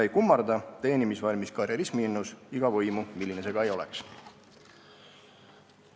Ei kummarda teenimisvalmis karjerismiinnus iga võimu, ükskõik milline see ka oleks.